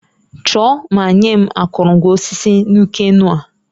Chọọ ma nye m akụrụngwa osisi Nuke-Noh